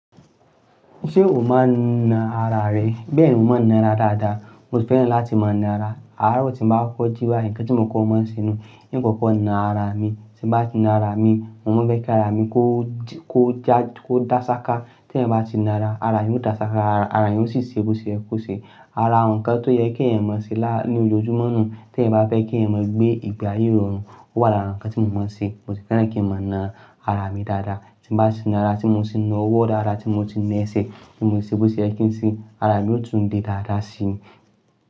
Ṣé o máa ń na ara rẹ? Bẹ́ẹ̀ni, mo máa ń na ra dáadáa. Mo sì fẹ́ràn láti máa ń na ara. Ààrọ̀ tí mo bá kọ́kọ́ jí báyìí nǹkan tí mo kọ máa ń ṣe nù. Ń kọ́kọ́ na ara mi, tí n bá ti na ara mi, mo máa ń fẹ́ kí ara mi kó dá, kó dá sáká. Tí èèyàn bá ti na ara, ara èèyàn yóò dá sáká, ara èyàn ó sì ṣe é bó ṣe yẹ kó ṣe. Ara àwọn ǹkan tó yẹ k'èèyàn máa ṣe lá, ní ojojúmọ́ nù. T'èèyàn bá fẹ́ k'èèyàn máa gbé ìgbé ayé ìrọ̀rùn, ó wà lára nǹkan tí mo máa ń se. Mo sì fẹ́ràn kí n máa na ara mi dáadáa. Tí n bá ti na ara tí mo ti na ọwọ́ dáadáa, tí mo ti na ẹsẹ̀, tí mo ti ṣe bó ṣe yẹ kí ń ṣe, ara mi ó tún le dáadáa sí i.